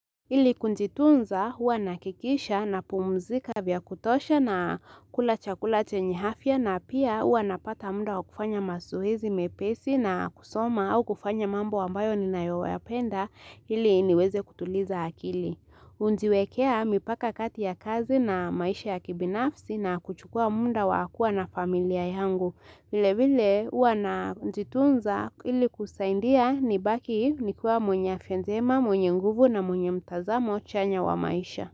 Ili kujitunza huwa nahikikisha napumuzika vya kutosha na kula chakula chenye afya na pia huwa napata muda wa kufanya mazoezi mepesi na kusoma au kufanya mambo ambayo ninayoyapenda ili niweze kutuliza akili. Hujiwekea mipaka kati ya kazi na maisha ya kibinafsi na kuchukua muda wa kuwa na familia yangu vile vile huwa najitunza ili kusaidia nibaki nikuwa mwenye afya njema, mwenye nguvu na mwenye mtazamo chanya wa maisha.